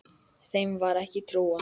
Þeim var ekki trúað.